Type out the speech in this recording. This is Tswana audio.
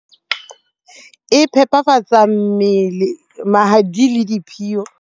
E phepafatsa mmele, madi le .